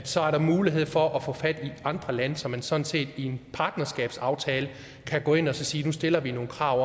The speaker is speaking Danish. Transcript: så er der mulighed for at få fat i andre lande så man sådan set i en partnerskabsaftale kan gå ind og sige at nu stiller vi nogle krav